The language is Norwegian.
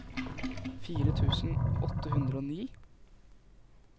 fire tusen åtte hundre og ni